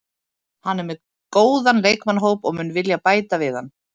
Hann er með góðan leikmannahóp og mun vilja bæta við hann.